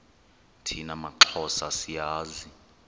thina maxhosa siyazi